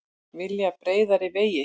Vilja breiðari vegi